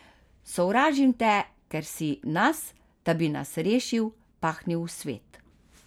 Sovražim te, ker si nas, da bi nas rešil, pahnil v svet.